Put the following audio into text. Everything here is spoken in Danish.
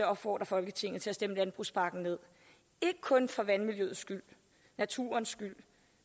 opfordre folketinget til at stemme landbrugspakken ned ikke kun for vandmiljøet skyld naturens skyld